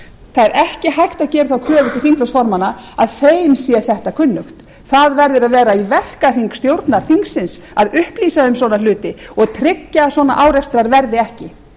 það er ekki hægt að gera þá kröfu til þingflokksformanna að þeim sé þetta kunnugt það verður að vera í verkahring stjórnar þingsins að upplýsa um svona hluti og tryggja að svona árekstrar verði ekki